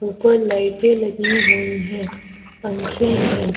ऊपर लाइटे लगी हुई है पंखे हैं।